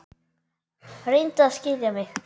Reyndu að skilja mig.